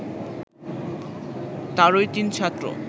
তারই তিন ছাত্র